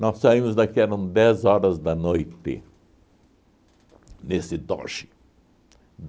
Nós saímos daqui, eram dez horas da noite, nesse Dodge.